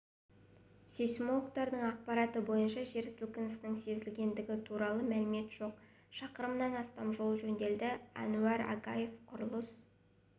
сейсмологтардың ақпараты бойынша жер сілкінісінің сезілгендігі туралы мәлімет жоқ шақырымнан астам жол жөнделеді әнуар агаев құрылыс